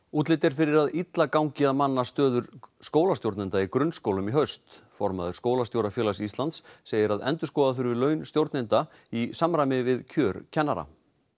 útlit er fyrir að illa gangi að manna stöður skólastjórnenda í grunnskólum í haust formaður Skólastjórafélags Íslands segir að endurskoða þurfi launakjör stjórnenda í samræmi við kjör kennara